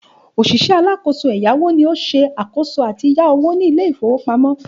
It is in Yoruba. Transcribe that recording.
Òṣìṣẹ́ alákòóso ẹ̀yáwó ni ó ṣe àkòóso àti yá owó ní Ilé-ìfowópamó